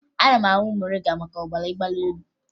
A na-aṅụ moringa maka ọbara mgbali elu